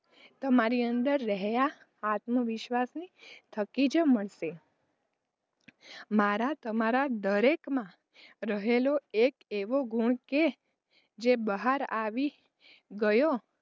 તમારી અંદર રહેલા આત્મવિશ્વાસ થકી જ મળશે મારા તમારાં દરેક માં રહેલો એક એવો ગુણ છે જે બહાર આવી ગયો,